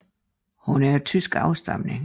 Hun er desuden af tysk afstamning